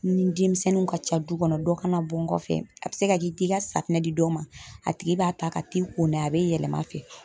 Ni demisɛnninw ka ca du kɔnɔ dɔ kana bɔ n kɔfɛ a bɛ se ka k'i t'i ka safunɛ di dɔ ma, a tigi b'a ta ka t'i ko n'a ye a be yɛlɛm'a fɛ.